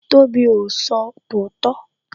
Tobi o sọ tòótọ́